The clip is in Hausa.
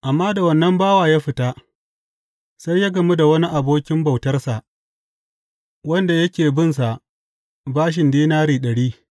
Amma da wannan bawa ya fita, sai ya gamu da wani abokin bautarsa wanda yake binsa bashin dinari ɗari.